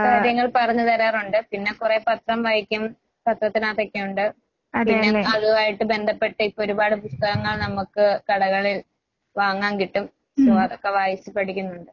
കാര്യങ്ങൾ പറഞ്ഞ് തരാറൊണ്ട്. പിന്നെ കൊറേ പത്രം വായിക്കും. പത്രത്തിനാത്തൊക്കെയൊണ്ട്. പിന്നെ അതുമായിട്ട് ബന്ധപ്പെട്ട് ഇപ്പൊരുപാട് പുസ്തകങ്ങൾ നമ്മക്ക് കടകളിൽ വാങ്ങാൻ കിട്ടും. സോ അതൊക്കെ വായിച്ച് പഠിക്കുന്നൊണ്ട്.